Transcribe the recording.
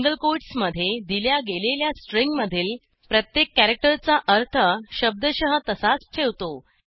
single कोटसमधे दिल्या गेलेल्या स्ट्रिंगमधील प्रत्येक कॅरॅक्टरचा अर्थ शब्दशः तसाच ठेवतो